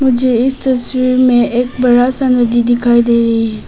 मुझे इस तस्वीर में एक बड़ा सा नदी दिखाई दे रही है।